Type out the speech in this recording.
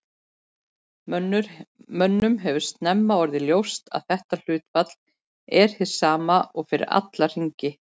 Mönnum hefur snemma orðið ljóst að þetta hlutfall er hið sama fyrir alla hringi.